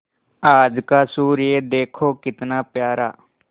आज का सूर्य देखो कितना प्यारा